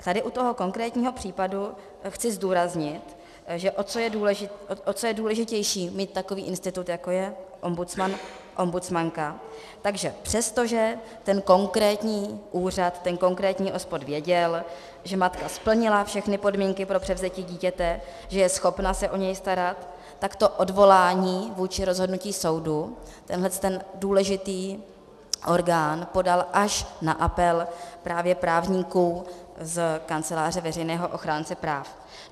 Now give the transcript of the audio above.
Tady u toho konkrétního případu chci zdůraznit, že o co je důležitější mít takový institut, jako je ombudsman, ombudsmanka, tak že přestože ten konkrétní úřad, ten konkrétní OSPOD věděl, že matka splnila všechny podmínky pro převzetí dítě, že je schopna se o něj starat, tak to odvolání vůči rozhodnutí soudu tenhle ten důležitý orgán podal až na apel právě právníků z Kanceláře veřejného ochránce práv.